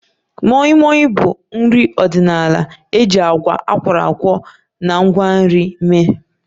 Moi Moi bụ nri ọdịnala emere na agwa akworakwo na ngwa nri